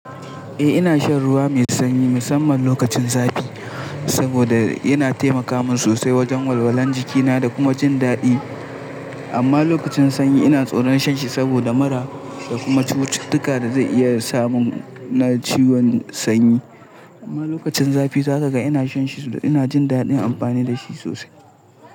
Eh ina shan ruwa mai sanyi musamman lokacin zafi, saboda yana taimaka min sosai wajen walwalan jikina da kuma jin daɗi. Amma lokacin sanyi ina tsoron shan shi saboda mura, da kuma cututtuka da zai iya samu na ciwon sanyi. Amma lokacin zafi za ka ga ina shan shi saboda ina jin daɗin amfani da shi sosai.